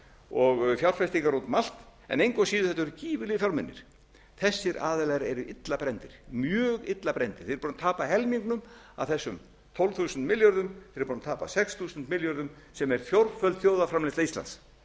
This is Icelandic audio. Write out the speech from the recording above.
og fjárfestingar út um allt en engu að síður þetta voru gífurlegir fjármunir þessir aðilar eru illa brenndir mjög illa brenndir þeir eru búnir að tapa helmingnum af þessum tólf þúsund milljörðum sem hefur tapað sex þúsund milljörðum sem er fjórföld þjóðarframleiðsla íslands þeir